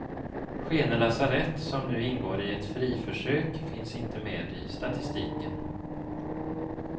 Skene lasarett som nu ingår i ett friförsök finns inte med i statistiken.